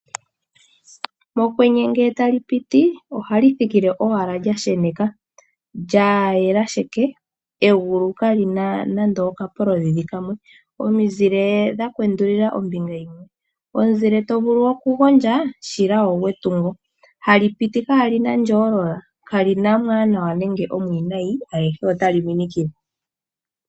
Mokwenye ngele tali piti ohali thikile owala lya sheneka. Lya yela sheke, egulu kali na nando oshikogo shimwe. Omizile dha kwendulila ombinga yimwe, omuzile to vulu okugondja shila ogwetungo. Hali piti kaali na ondjoolola, kali na omwaanawa nenge omwiinayi, ayehe otali minikile.